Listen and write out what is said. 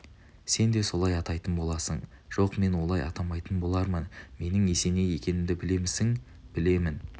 сен де солай атайтын боласың жоқ мен олай атамайтын болармын менің есеней екенімді білемісің білемін